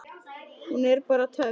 Hún er bara töff.